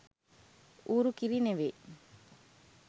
ඌරු කිරි නෙවෙයි